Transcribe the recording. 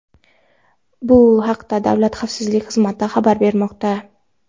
Bu haqda Davlat xavfsizlik xizmati xabar bermoqda.